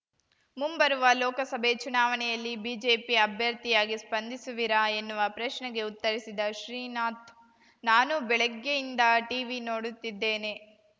ಮುಂಬರುವ ಲೋಕಸಭೆ ಚುನಾವಣೆಯಲ್ಲಿ ಬಿಜೆಪಿ ಅಭ್ಯರ್ಥಿಯಾಗಿ ಸ್ಪಂದಿಸುವಿರಾ ಎನ್ನುವ ಪ್ರಶ್ನೆಗೆ ಉತ್ತರಿಸಿದ ಶ್ರೀನಾಥ್‌ ನಾನೂ ಬೆಳಗ್ಗೆಯಿಂದ ಟೀವಿ ನೋಡುತ್ತಿದ್ದೇನೆ